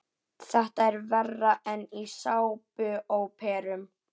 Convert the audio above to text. Þetta er verra en í sápuóperum.